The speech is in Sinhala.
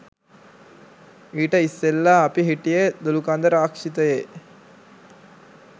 ඊට ඉස්සෙල්ලා අපි හිටියෙ දොළුකන්ද රක්ෂිතයේ